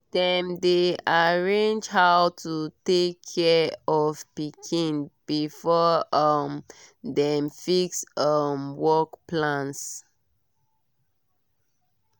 dem dey arrange how to take care of pikin before um dem fix um work plans.